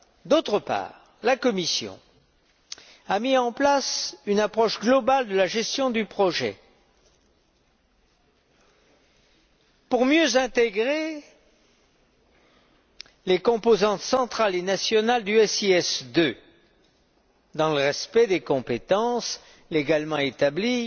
D'autre part, la Commission a mis en place une approche globale de la gestion du projet pour mieux intégrer les composantes centrales et nationales du SIS II, dans le respect des compétences légalement établies